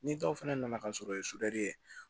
Ni dɔw fana nana ka sɔrɔ